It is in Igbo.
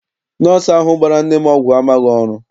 Nọsọụ ahụ gbara nne m ọgwụ amaghị ọrụ.